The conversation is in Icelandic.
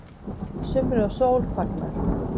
Sumri og sól fagnað